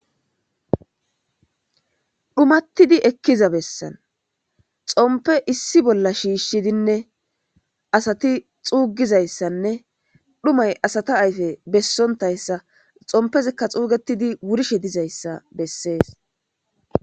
dhumattidi ekkiza bessan xompe issi bolla shiishshidinne asati xuugizayssanne dhumay asata ayfe bessontayssa xompezikka xuugetidi wurishe dizayssa bessees